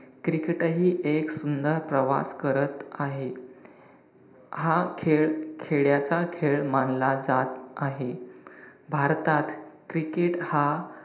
Cricket हि एक सुंदर प्रवास करत आहे. हा खेळ खेड्याच्या खेळ मानला जात आहे. भारतात cricket हा,